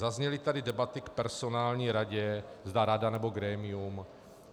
Zazněly tady debaty k personální radě, zda rada, nebo grémium.